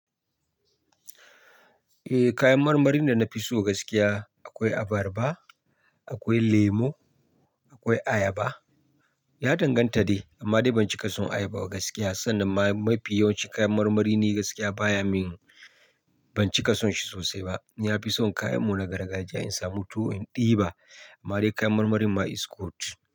Eh kayan marmarin da na fi so gaskiya akwai abarba, akwai lemu, akwai ayaba. Ya danganta dai, amma dai ban cika son ayaba gaskiya. Sannan ma mafi yawancin kayan marmari ni gaskiya baya min. Ban cika son shi sosai ba. Na fi son kayan mu na gargajiya in samu tuwo in ɗiba. Amma dai kayan marmarin ma is good.